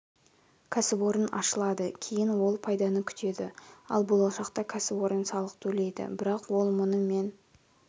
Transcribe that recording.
кәсіпорын ашылады кейін ол пайданы күтеді ал болашақта кәсіпорын салық төлейді бірақ ол мұны мен